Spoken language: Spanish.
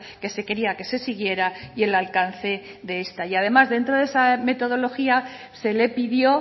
que se quería que se siguiera y el alcance de esta y además dentro de esa metodología se le pidió